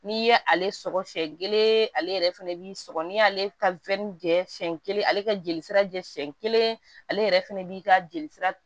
N'i ye ale sɔgɔ siyɛn kelen ale yɛrɛ fɛnɛ b'i sɔgɔ n'i y'ale ka jɛ siyɛn kelen ale ka jeli sira jɛ siɲɛ kelen ale yɛrɛ fɛnɛ b'i ka jelisira